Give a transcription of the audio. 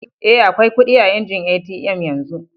Eh, akwai kudi a injin ATM yanzu.